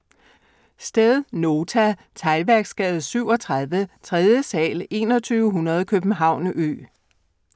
Sted: Nota. Teglværksgade 37, 3. sal, 2100 København Ø